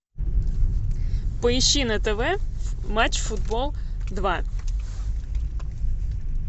поищи на тв матч футбол два